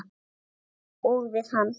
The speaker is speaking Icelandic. Og við hann.